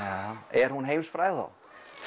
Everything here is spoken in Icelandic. er hún heimsfræg þá